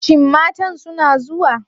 Shin matan suna zuwa?